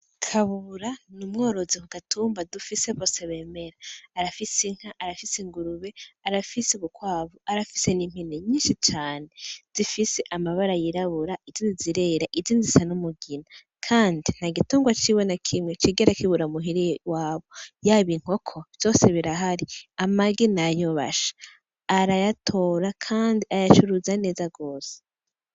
Kabura ni umworozi ku gatumba dufise vose bemera arafise inka arafise ingurube arafise ubukwabu arafise n'impine nyinshi cane zifise amabara yirabura ijo zzirera ijinzisa n'umugina, kandi nta igitungwa ciwe na kimwe cigera kibura amuhiriye wabo yabo inkoko vyose birahari amagi n ayobasha arayatora, kandi ayacuruza aneza gose.